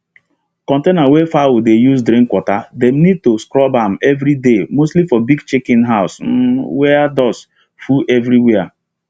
countainer wey fowl the use drink watter dem need to scrub am every day mostly for big chicken house um were dust full everywere